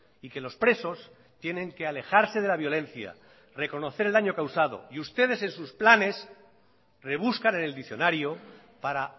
y que los presos tienen que alejarse de la violencia reconocer el daño causado y ustedes en sus planes rebuscan en el diccionario para